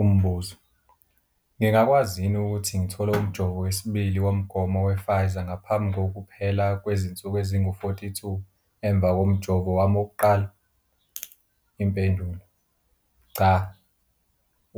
Umbuzo- Ngingakwazi yini ukuthi ngithole umjovo wesibili womgomo wePfizer ngaphambi kokuphela kw zinsuku ezingu-42 emva komjovo wami wokuqala? Impendulo- Cha.